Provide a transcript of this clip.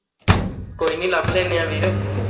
ਕੋਈ ਨਹੀਂ ਲੱਭ ਲੈਣੇ ਆਂ ਵੀਰ